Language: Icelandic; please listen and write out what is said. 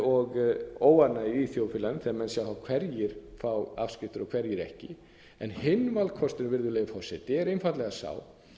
og óánægju í þjóðfélaginu þegar menn sjá hverjir fá afskriftir og hverjir ekki en hinn valkosturinn virðulegi forseti er einfaldlega sá